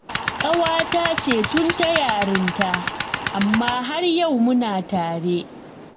Ƙawata ce tun ta yarinta, amma har yau muna tare